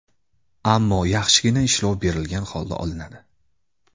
Ammo yaxshigina ishlov berilgan holda olinadi.